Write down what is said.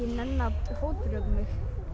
nenna að fótbrjóta mig